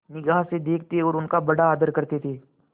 निगाह से देखते और उनका बड़ा आदर करते थे